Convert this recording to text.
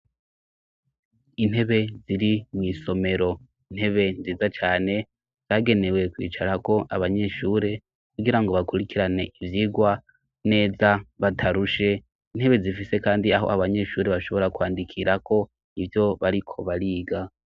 Intebe ziri mw'isomero intebe nziza cane zagenewe kwicarako abanyeshure kugira ngo bakurikirane ivyirwa neza batarushe intebe zifise, kandi aho abanyeshure bashobora kwandikirako ivyo bariko bariga.